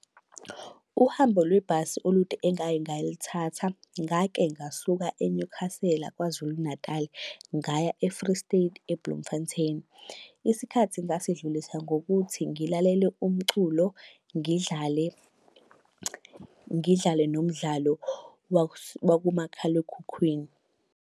Uhambo lwebhasi olude engake ngalithatha, ngake ngasuka eNyukhasela KwaZulu Natali, ngaya e-Free State, eBloemfontein. Isikhathi ngasidlulisa ngokuthi ngilalele umculo, ngidlale ngidlale nomdlalo wakumakhalekhukhwini.